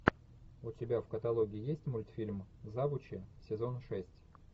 у тебя в каталоге есть мультфильм завучи сезон шесть